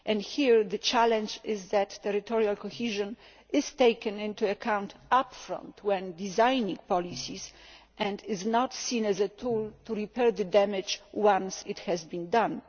Here, the challenge is for territorial cohesion to be taken into account upfront when designing policies, and not to be seen as a tool to repair the damage once it has been done.